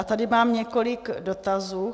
A tady mám několik dotazů.